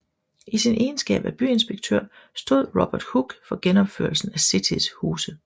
I sin egenskab af byinspektør stod Robert Hooke for genopførelsen af Citys huse